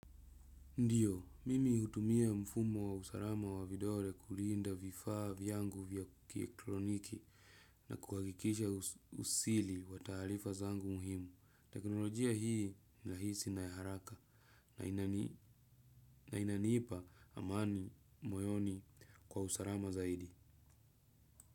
Ndiyo, mimi hutumia mfumo wa usalama wa vidole kulinda vifaa vyangu vya kielektroniki na kuhakikisha usili wa taarifa zangu muhimu. Teknolojia hii nirahisi na ya haraka na inanipa amani, moyoni kwa usalama zaidi.